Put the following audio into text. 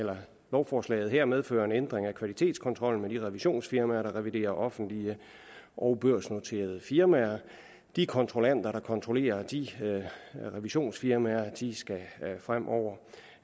lovforslaget her medfører en ændring af kvalitetskontrollen med de revisionsfirmaer der reviderer offentlige og børsnoterede firmaer de kontrollanter der kontrollerer de revisionsfirmaer skal fremover